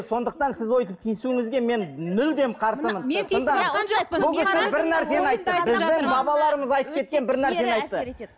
сондықтан сіз өйтіп тиісуіңізге мен мүлдем қарсымын